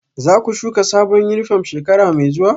Za ku shuka sabon yunifom shekara mai zuwa?